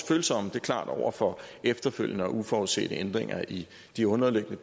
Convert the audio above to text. følsomme det er klart over for efterfølgende og uforudsete ændringer i de underliggende